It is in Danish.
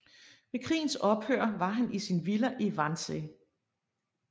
Ved krigens ophør var han i sin villa i Wannsee